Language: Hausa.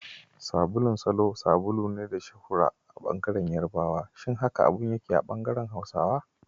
Sabulun Salo sabulu ne da ya yi shuhura a bangaren yarabawa, Shin haka abin yake a bangaren Hausawa?